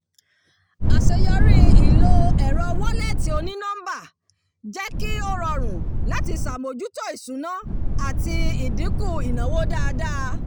àṣeyọrí ìlò ẹ̀rọ wọ́lẹ̀tì oní-nọ́mbà jẹ́ kí ó rọrùn láti ṣàbójútó ìṣúná àti ìdínkù ìnáwó dáadáa